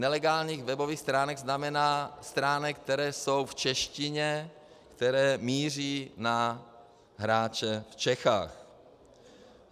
Nelegálních webových stránek znamená stránek, které jsou v češtině, které míří na hráče v Čechách.